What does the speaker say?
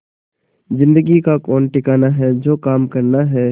जिंदगी का कौन ठिकाना है जो काम करना है